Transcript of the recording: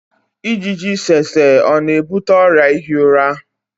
ijiji tsetse ọ na-ebute ọrịa ihi ụra?